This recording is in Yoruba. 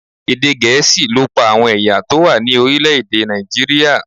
Èdè Gẹ̀ẹ́sì ló pa àwọn ẹ̀yà tó wà ní orílẹ̀ èdè Nàìjíríà.